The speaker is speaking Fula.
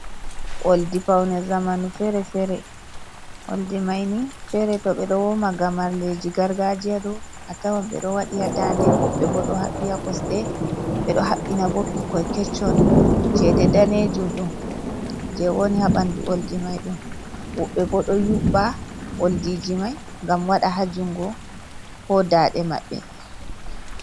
Oldi paune zamanu fere fere, oldi mai ni fere to ɓe ɗo woma gamarleji gargajiya ɗo a tawon ɓe ɗo waɗi ha dande, woɓɓe bo ɗo haɓi ha kosɗe ɓe ɗo habbina bo ɓikkoi kecchon, chede danejum ɗum je woni ha ɓanɗu oldi mai ɗo woɓɓe bo ɗo yuɓa oldiji mai ngam waɗa ha jungo ko dande maɓɓe.